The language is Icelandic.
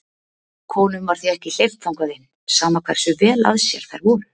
Konum var því ekki hleypt þangað inn, sama hversu vel að sér þær voru.